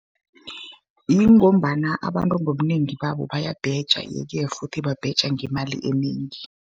Ngombana abantu ngobunengi babo bayabheja, ye-ke futhi babheja ngemali enengi.